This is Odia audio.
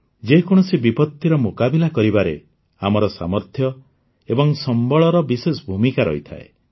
ଯେକୌଣସି ବିପତ୍ତିର ମୁକାବିଲା କରିବାରେ ଆମର ସାମର୍ଥ୍ୟ ଏବଂ ସମ୍ବଳର ବିଶେଷ ଭୂମିକା ରହିଥାଏ